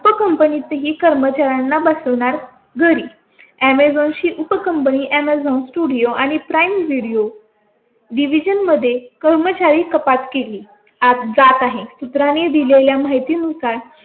उपकंपनीत ही कर्मचाऱ्यांना बसणार. घरी अॅमेझॉन ची उपकंपनी amazon studio आणि prime video division मध्ये कर्मचारी कपात केली जात आहे. सूत्रांनी दिलेल्या माहिती नुसार